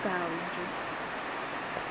okanjo